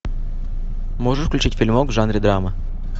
можешь включить фильмок в жанре драмы